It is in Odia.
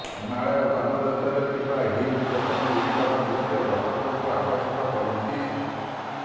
ହିମାଳୟ ପାଦ ଦେଶରେ ଥିବା ହିଲ୍ ଷ୍ଟେସନ୍ ଗୁଡ଼ିକର ଦୃଶ୍ୟ ଦର୍ଶକଙ୍କୁ ଆକର୍ଷିତ କରୁଛି